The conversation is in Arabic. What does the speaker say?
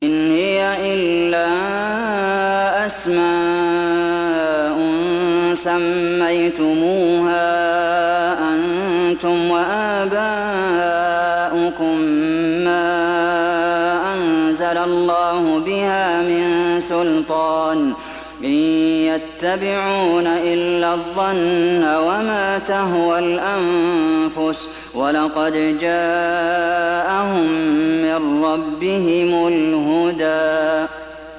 إِنْ هِيَ إِلَّا أَسْمَاءٌ سَمَّيْتُمُوهَا أَنتُمْ وَآبَاؤُكُم مَّا أَنزَلَ اللَّهُ بِهَا مِن سُلْطَانٍ ۚ إِن يَتَّبِعُونَ إِلَّا الظَّنَّ وَمَا تَهْوَى الْأَنفُسُ ۖ وَلَقَدْ جَاءَهُم مِّن رَّبِّهِمُ الْهُدَىٰ